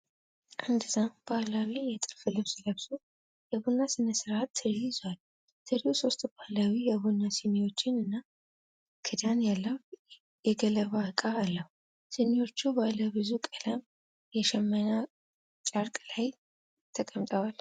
አንድ ሰው በባህላዊ የጥልፍ ልብስ ለብሶ የቡና ስነስርዓት ትሪ ይዟል። ትሪው ሶስት ባህላዊ የቡና ስኒዎችን እና ክዳን ያለው የገለባ ዕቃ አለው። ስኒዎቹ ባለብዙ ቀለም የሽመና ጨርቅ ላይ ተቀምጠዋል።